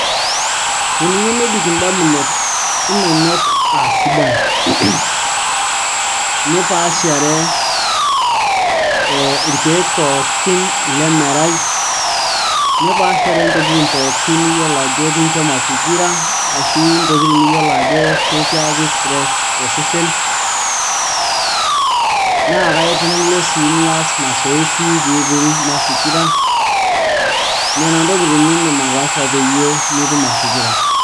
teniyieu nebik indamunot inonok aa sidan nipaashare irkeek pookin lemerai nipaashare ntokitin pookin niyiolo ajo kincho mafikira ashu ntokitin niyiolo ajo kikiyaki stress osesen naa kaitum Ilo sii niyas masoesi piiting mafikira nena ntokitin nindim ataasa pee mitum mafikira.